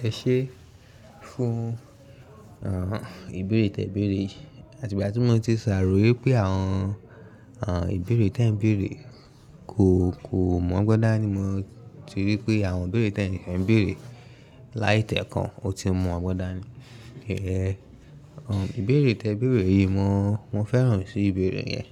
Ẹ ṣe fún ìbéèrè tẹ ìbéèrè yìí, àti ìgbà tí mo ti sàrò yé wípé àwọn ìbéèrè tẹ ǹ ìbéèrè kò mọ̀ gbọn dani mo ti rí pé àwọn ìbéèrè tẹ ìbéèrè láì tẹ ẹ̀ kan ó ti mọ̀ gbọ́dọ̀ ni. Ìbéèrè tẹ ìbéèrè yìí mo féràn sí ìbéèrè yẹn,